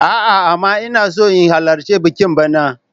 A'a, amma ina so in halarci bikin bana.